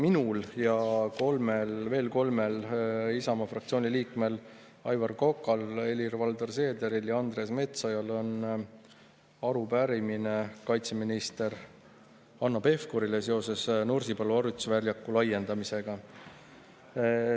Minul ja veel kolmel Isamaa fraktsiooni liikmel Aivar Kokal, Helir-Valdor Seederil ja Andres Metsojal on arupärimine kaitseminister Hanno Pevkurile seoses Nursipalu harjutusväljaku laiendamisega.